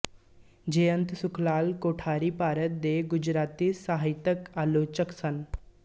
ਜੈਅੰਤ ਸੁਖਲਾਲ ਕੋਠਾਰੀ ਭਾਰਤ ਦੇ ਗੁਜਰਾਤੀ ਸਾਹਿਤਕ ਆਲੋਚਕ ਸਨ